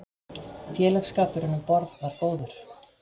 Félagsskapurinn um borð var góður.